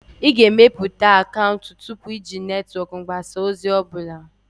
Ị ga-emepụta akaụntụ tupu iji netwọk mgbasa ozi ọ bụla.